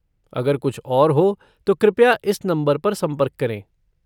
अगर कुछ और हो तो कृपया इस नंबर पर संपर्क करें।